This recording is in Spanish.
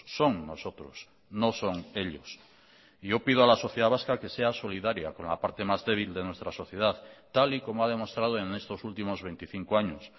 son nosotros no son ellos y yo pido a la sociedad vasca que sea solidaria con la parte más débil de nuestra sociedad tal y como ha demostrado en estos últimos veinticinco años